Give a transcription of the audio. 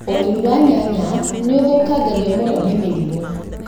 ũrĩmi wa nyanya nĩũthũkangagio mũno nĩ mĩrimũ